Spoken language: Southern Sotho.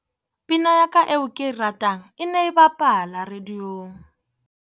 Pina ya ka eo ke e ratang e ne e bapala radiong.